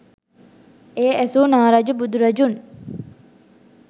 එය ඇසූ නා රජු බුදුරදුන්